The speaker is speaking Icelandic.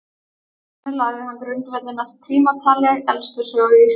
Þannig lagði hann grundvöllinn að tímatali elstu sögu Íslands.